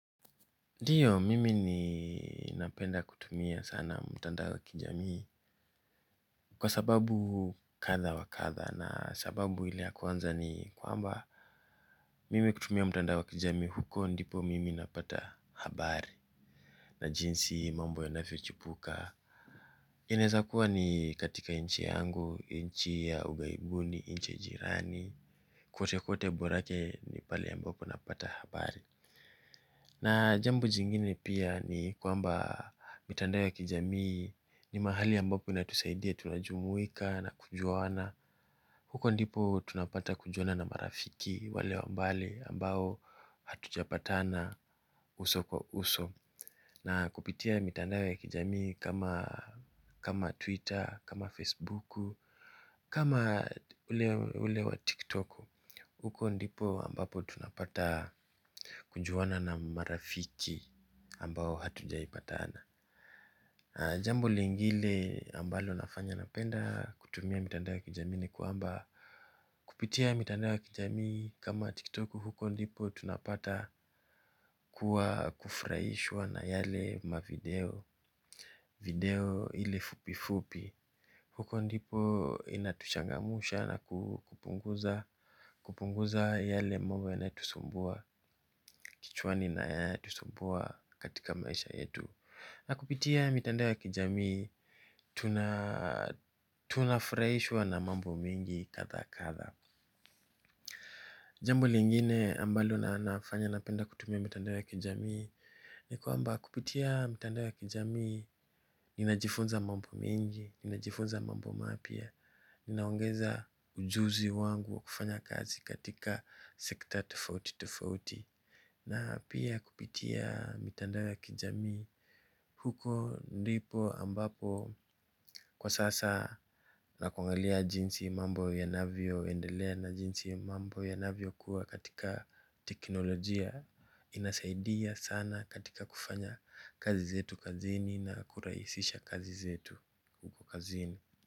Ndio mimi napenda kutumia sana mtandao wa kijamii kwa sababu kadha wa kadha sababu ile ya kwanza ni kwamba mimi kutumia mtandao wa kijami huko ndipo mimi napata habari na jinsi mambo yanafio chipuka. Inaeza kuwa ni katika nchi yangu, nchi ya ughaibuni, nchi ya jirani, kwote kwote borake ni pali ambapo napata habari. Na jambo jingine pia ni kwamba mitandao ya kijamii ni mahali ambapo inatusaidia tunajumuika na kujuana huko ndiko tunapata kujuana na marafiki wale wa mbali ambao hatujapatana uso kwa uso. Na kupitia mitandao kijamii kama Twitter, kama Facebook, kama ulewa TikTok Huko ndipo ambapo tunapata kujuana na marafiki ambao hatujaipatana. Jambo lingile ambalo nafanya napenda kutumia mitandao ya kijami ni kwamba kupitia mitandao ya kijami kama tiktoku huko ndipo tunapata kuwa kufuraishwa na yale mavideo. Video ile fupi fupi huko ndipo inatuchangamusha na kupunguza yale mambo ya nayotusumbua kichwani na yayotusumbua katika maisha yetu. Na kupitia mitandao ya kijamii tuna tunafuraishwa na mambo mingi kadha kadha. Jambo lingine ambalo nafanya napenda kutumia mitandao ya kijamii ni kwamba kupitia mitandao ya kijamii ninajifunza mambo mengi ninajifunza mambo mapya. Ninaongeza ujuzi wangu wa kufanya kazi katika sector tofauri tofauti. Na pia kupitia mitandao ya kijamii huko ndipo ambapo kwa sasa na kuangalia jinsi mambo ya navyo endelea na jinsi mambo ya navyo kuwa katika teknolojia. Inasaidia sana katika kufanya kazi zetu kazini na kuraisisha kazi zetu huko kazini.